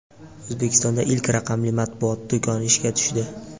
O‘zbekistonda ilk raqamli matbuot do‘koni ishga tushdi.